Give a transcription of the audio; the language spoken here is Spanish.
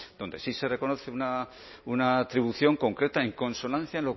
donde sí se reconoce una atribución concreta en consonancia